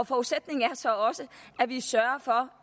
forudsætningen er så også at vi sørger for